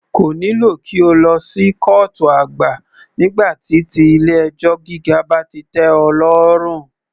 Kò nílò kí o lọ sí kọ́ọ̀tù àgbà nígbà tí ti ilé ẹjọ́ gíga bá ti tẹ́ ọ lọ́rùn.